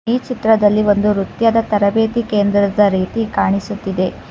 ಈ ಚಿತ್ರದಲ್ಲಿ ಒಂದು ನೃತ್ಯದ ತರಬೇತಿ ಕೇಂದ್ರದ ರೀತಿ ಕಾಣಿಸುತ್ತಿದೆ.